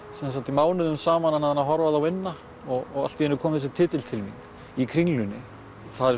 mánuðum saman annað en að horfa á þá vinna og allt í einu kom þessi titill til mín í Kringlunni en